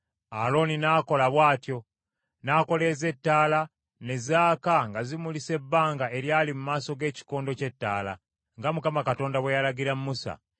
Alooni n’akola bw’atyo; n’akoleeza ettaala ne zaaka nga zimulisa ebbanga eryali mu maaso g’ekikondo ky’ettaala, nga Mukama Katonda bwe yalagira Musa.